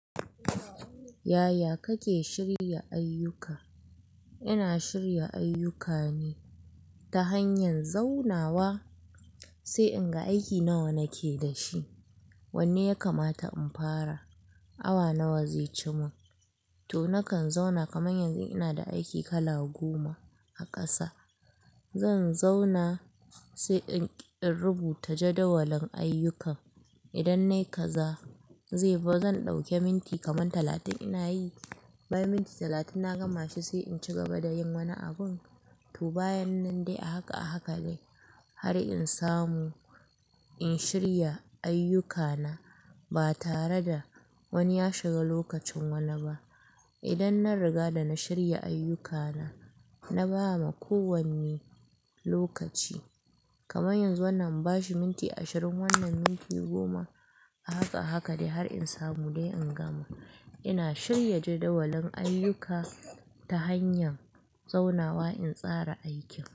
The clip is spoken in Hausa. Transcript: Yaya kake shirya ayyuka? Ina shirya ayyukane ta hanyar zaunawa, sai in ga aiki nawa nake da shi. Wanne yakamata in fara, awa nawa zai cema. To nakan zauna kaman yanzu in ina da aiki kala goma a ƙasa. Zan zauna sai in rubuta jadawalin ayyukan. Idan na yi kaza, zai fi zan ɗauke minti kaman talatin ina yi. Bayan minti talatin na gama shi sai in ci gaba da yin wani abin. To bayan nan dai a haka a haka ne har in samu in shirya ayyukana ba tare da wani ya shiga lokacin wani ba. Idan na riga da na shirya ayyukana, na ba ma kowanne lokaci. Kaman yanzu wannan in bashi minti ashirin, wannan minti goma. A haka a haka ne har in samu dai in gama. Ina shirya jadawalin ayyuka ta hanyar zaunawa in tsara aikin.